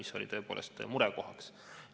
See oli tõepoolest murekoht.